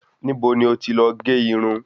Níbo ni o ti lọ gé Irun?